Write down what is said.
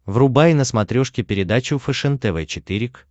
врубай на смотрешке передачу фэшен тв четыре к